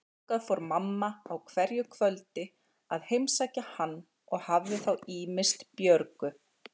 Þangað fór mamma á hverju kvöldi að heimsækja hann og hafði þá ýmist Björgu